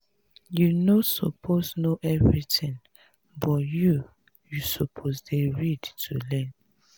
you no suppose know everything but you you suppose dey ready to learn.